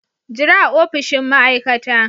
Jira a opishin ma'aikata.